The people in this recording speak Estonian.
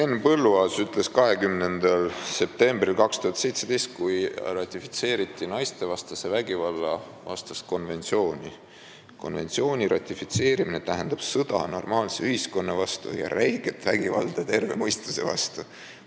Henn Põlluaas ütles 20. septembril 2017, kui ratifitseeriti naistevastase vägivalla vastast konventsiooni: "Konventsiooni ratifitseerimine tähendab sõda normaalse ühiskonna vastu ja räiget vägivalda terve mõistuse vastu.